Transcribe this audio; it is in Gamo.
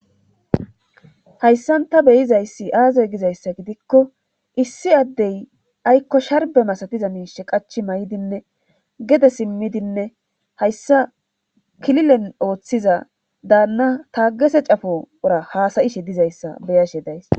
hayssan ta beyizayssi aazey gizayssa gidikko issi addey aykko sharbe masatiza miishe qachi may7idinne gede simmidinne hayssa kililen ooththiza daanna taagese cafo ura haasayishe dizayssa beyashe days